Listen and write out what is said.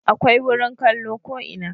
Akwai wurin kallo ko ina